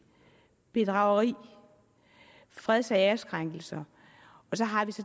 bedrageri og freds og æreskrænkelser så har vi